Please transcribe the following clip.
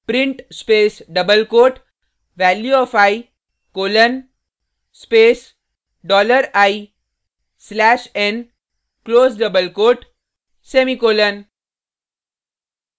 print space double quote value of i colon space dollar i slash n close double quote semicolon